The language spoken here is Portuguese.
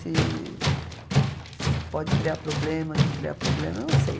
Se se pode criar problemas, não criar problemas, eu não sei.